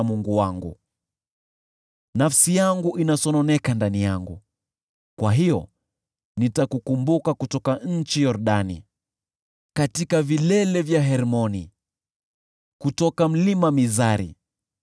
Mungu wangu. Nafsi yangu inasononeka ndani yangu; kwa hiyo nitakukumbuka kutoka nchi ya Yordani, katika vilele vya Hermoni, kutoka Mlima Mizari.